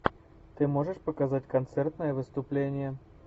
ты можешь показать концертное выступление